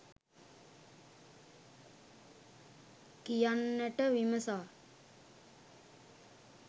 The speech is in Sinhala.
කියන්නට විමසා